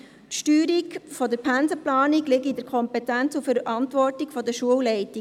Die Steuerung der Pensenplanung liege in der Kompetenz und Verantwortung der Schulleitungen.